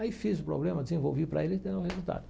Aí fiz o problema, desenvolvi para ele e deu um resultado.